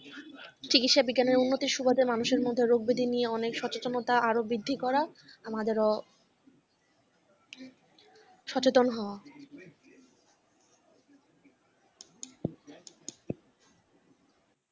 চিকিৎসা বিজ্ঞানের উন্নতির সুবাদে মানুষের মধ্যে রোগ ব্যাধি নিয়ে সচেতনতা আরো বৃদ্ধি করা আমাদেরও সচেতন হওয়া।